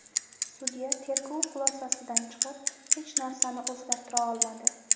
Sudya tergov xulosasidan chiqib, hech narsani o‘zgartira olmadi.